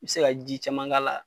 I bɛ se ka ji caman k'a la